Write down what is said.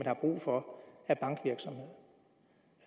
har brug for